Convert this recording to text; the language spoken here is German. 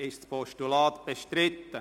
Ist das Postulat bestritten?